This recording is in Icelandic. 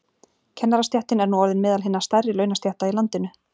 Kennarastéttin er nú orðin meðal hinna stærri launastétta í landinu.